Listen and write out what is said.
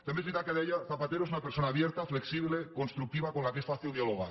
també és veritat que deia zapatero es una persona abierta flexible constructiva con la que es fácil dialogar